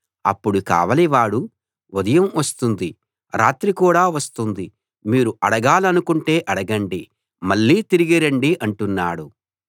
అప్పుడు కావలివాడు ఉదయం వస్తుంది రాత్రి కూడా వస్తుంది మీరు అడగాలనుకుంటే అడగండి మళ్ళీ తిరిగి రండి అంటున్నాడు